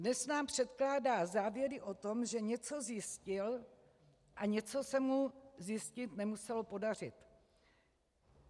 Dnes nám předkládá závěry o tom, že něco zjistil a něco se mu zjistit nemuselo podařit.